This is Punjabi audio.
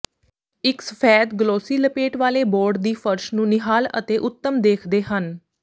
ਇਕ ਸਫੈਦ ਗਲੋਸੀ ਲਪੇਟ ਵਾਲੇ ਬੋਰਡ ਦੀ ਫਰਸ਼ ਨੂੰ ਨਿਹਾਲ ਅਤੇ ਉੱਤਮ ਦੇਖਦੇ ਹਨ